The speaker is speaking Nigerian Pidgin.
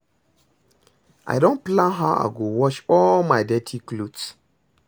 I don plan how I go wash all my dirty cloth